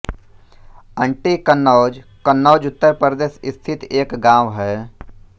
aunty Kannauj Kannauj Uttar Pradesh स्थित एक गाँव है